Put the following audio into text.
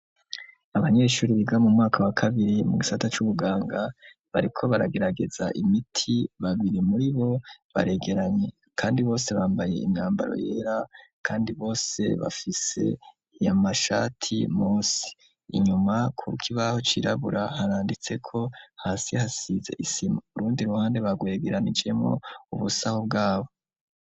Abanyeshuri biga mu mwaka wa kabiri mu gisata c'ubuganga bariko baragerageza imiti babiri muri bo baregeranye, kandi bose bambaye imyambaro yera, kandi bose bafise iyamashati mosi inyuma ku ruka ibaho cirabura haranditseko hasi hasize isi urundi ruhande bagwegeranijemo ubusaho bwabo.